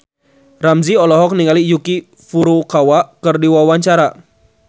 Ramzy olohok ningali Yuki Furukawa keur diwawancara